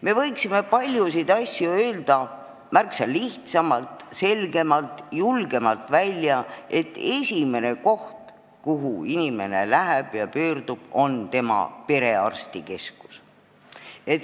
Me võiksime paljusid asju öelda märksa lihtsamalt ja selgemalt ning öelda julgemalt välja, et esimene koht, kuhu inimene pöörduma peaks, on perearstikeskus.